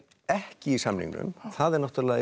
ekki í samningnum það eru náttúrulega